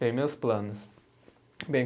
Bem, meus planos. Bem